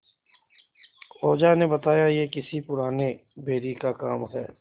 ओझा ने बताया यह किसी पुराने बैरी का काम है